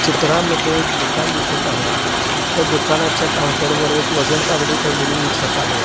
चित्रामध्ये एक दुकान दिसत आहे त्या दुकानाच्या काऊंटर वर एक वजन तागडी ठेवलेली दिसत आहे.